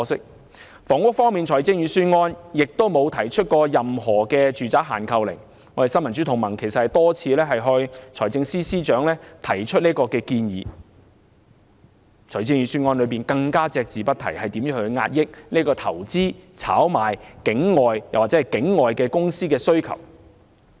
在房屋方面，預算案沒有提出任何住宅限購令——我和新民主同盟曾多次向財政司司長提出建議——預算案亦隻字不提如何遏抑投資、炒賣、境外或境外公司需求。